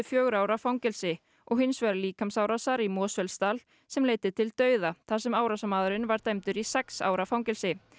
fjögurra ára fangelsi og hins vegar líkamsárásar í Mosfellsdal sem leiddi til dauða þar sem árásarmaðurinn var dæmdur í sex ára fangelsi